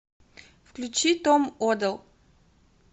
включи том оделл